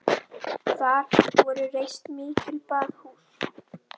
Þar voru reist mikil baðhús.